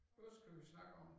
Hvad skal vi snakke om?